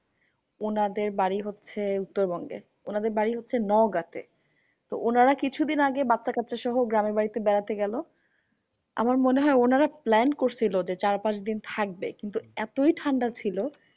উনাদের বাড়ি হচ্ছে উত্তরবঙ্গে। উনাদের বাড়ি হচ্ছে নউগা তে। তো উনারা কিছুদিন আগে বাচ্চা কাচ্চা সহ গ্রামের বাড়িতে বেড়াতে গেলো। আমার মনে হয় উনারা plan করসিলো যে চার পাঁচদিন থাকবে। কিন্তু এতই ঠান্ডা ছিল